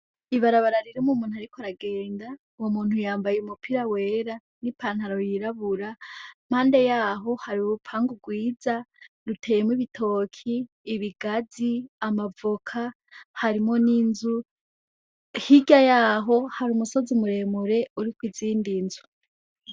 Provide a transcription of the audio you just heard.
Ibarabarariri mu muntu ari ko aragenda nwu muntu yambaye umupira wera n'i pantaro yirabura mpande yaho hari urupanga rwiza ruteyemwo ibitoki ibigazi amavoka harimo n'inzu higa yaho hari umusozi umuremure uri ko izindi nzu.